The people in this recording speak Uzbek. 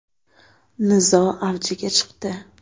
Nizo avjiga chiqdi.